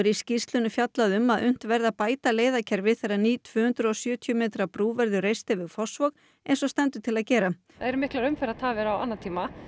skýrslunni fjallað um að unnt verði að bæta þegar ný tvö hundruð og sjötíu metra brú verður reist yfir Fossvog eins og stendur til að gera það eru miklar umferðartafir á annatíma